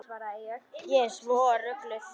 Ég er svo rugluð.